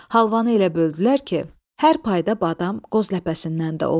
Halvanı elə böldülər ki, hər payda badam, qoz ləpəsindən də oldu.